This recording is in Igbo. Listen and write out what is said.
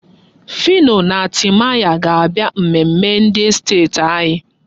Phyno na Timaya ga-abịa mmemme ndị estet anyị.